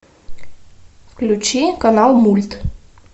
включи канал мульт